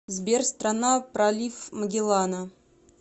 сбер страна пролив магеллана